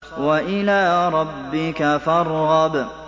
وَإِلَىٰ رَبِّكَ فَارْغَب